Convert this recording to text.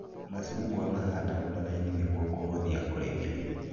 Macungwa mahandagwo na raini nĩguo kũhũthia ũrĩmĩri